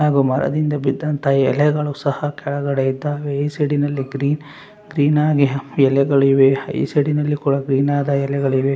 ಹಾಗು ಮರದಿಂದ ಬಿದ್ದಂತ ಎಲೆಗಳು ಸಹ ಕೆಳಗಡೆ ಇದ್ದಾವೆ ಈ ಸೈಡಿನಲ್ಲಿ ಗ್ರೀನ್ ಗ್ರೀನ್ ಆಗಿ ಎಲೆಗಳು ಇವೆ ಈ ಸೈಡಿನಲ್ಲಿ ಕೊಳ ಗ್ರೀನ್ ಆದ ಎಲೆಗಳು ಇವೆ.